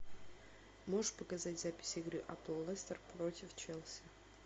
можешь показать запись игры апл лестер против челси